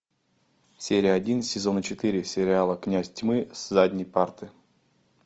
серия один сезона четыре сериала князь тьмы с задней парты